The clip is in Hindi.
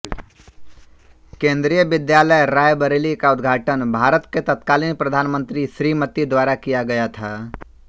केंद्रीय विद्यालय रायबरेली का उद्घाटन भारत के तत्कालीन प्रधान मंत्री श्रीमती द्वारा किया गया था